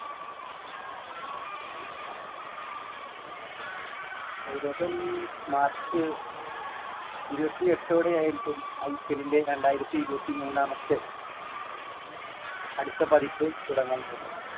ഏകദേശം march ഇരുപത്തിയെട്ടോടെയായിരിക്കും IPL ന്റെ രണ്ടായിരത്തി ഇരുപത്തിമൂന്നാമത്തെ അടുത്ത പതിപ്പ് തുടങ്ങാൻ പോകുന്നത്.